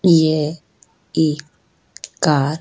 यह एक कार --